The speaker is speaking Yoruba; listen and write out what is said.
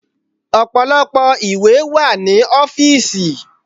Ọ̀pọ̀lọpọ̀ ìwé wà ní ọ́fìsì.